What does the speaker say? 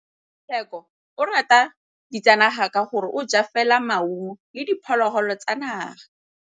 Tshekô o rata ditsanaga ka gore o ja fela maungo le diphologolo tsa naga.